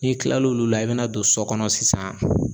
N'i tilal'olu la i bɛ na don sɔ kɔnɔ sisan